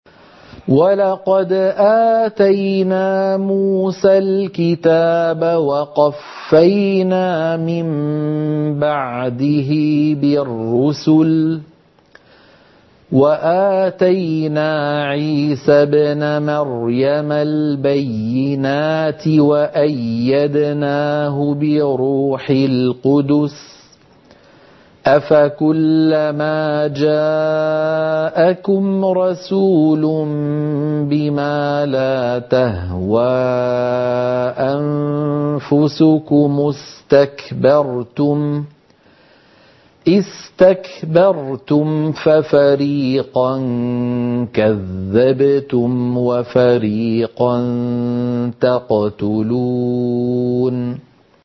وَلَقَدْ آتَيْنَا مُوسَى الْكِتَابَ وَقَفَّيْنَا مِن بَعْدِهِ بِالرُّسُلِ ۖ وَآتَيْنَا عِيسَى ابْنَ مَرْيَمَ الْبَيِّنَاتِ وَأَيَّدْنَاهُ بِرُوحِ الْقُدُسِ ۗ أَفَكُلَّمَا جَاءَكُمْ رَسُولٌ بِمَا لَا تَهْوَىٰ أَنفُسُكُمُ اسْتَكْبَرْتُمْ فَفَرِيقًا كَذَّبْتُمْ وَفَرِيقًا تَقْتُلُونَ